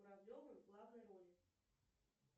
куравлевым в главной роли